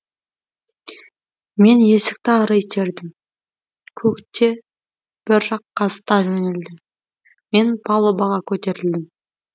мен есікті ары итердім кок те бір жаққа зыта жөнелді мен палубаға көтерілдім